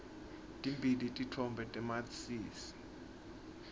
timbili titfombe tamatisi